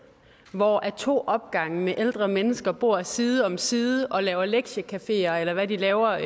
hvor to opgange med ældre mennesker bor side om side og laver lektiecafeer eller hvad de laver